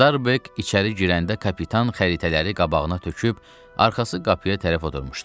Starbek içəri girəndə kapitan xəritələri qabağına töküb, arxası qapıya tərəf oturmuşdu.